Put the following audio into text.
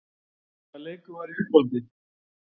Hvaða leikur var í uppáhaldi?